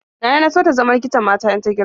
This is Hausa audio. Nana na so ta zama likitan mata in ta girma.